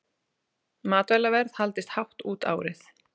Matvælaverð haldist hátt út árið